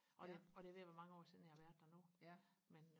og det og det er ved og være mange år siden jeg har været der nu men